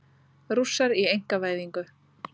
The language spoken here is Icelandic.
Rússar í einkavæðingu